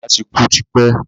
Bàbá ti kú ti pẹ́